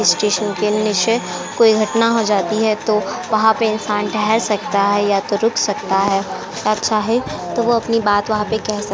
Station के नीचे कोई घटना हो जाती है तो वहाँ पे इंसान ठेहेर सकता है या तो रुक सकता है। अच्छा है तो वो अपनी बात वहाँ पे केह सक --